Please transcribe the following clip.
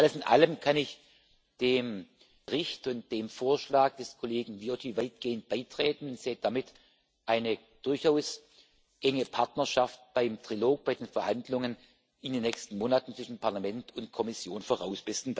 Alles in allem kann ich mich dem Bericht und dem Vorschlag des Kollegen Viotti weitgehend anschließen und sehe damit eine durchaus enge Partnerschaft beim Trilog, bei den Verhandlungen in den nächsten Monaten zwischen Parlament und Kommission voraus.